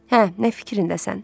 Hə, nə fikirdəsən?